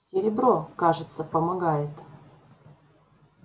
серебро кажется помогает